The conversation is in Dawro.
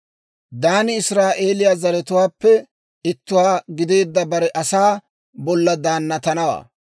«Daani israa'eeliyaa zaratuwaappe ittuwaa gideedda bare asaa bolla daannatanawaa.